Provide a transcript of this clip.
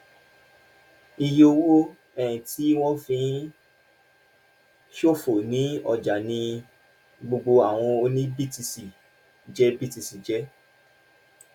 iye owó um tí wọn fi ń ṣòfò ní ọjà ní gbogbo àwọn tó ní btc jẹ btc jẹ um